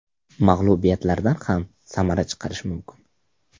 Mag‘lubiyatlardan ham samara chiqarish mumkin.